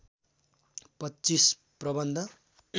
पच्चीस प्रबन्ध